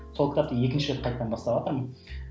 сол кітапты екінші рет қайтадан баставатырмын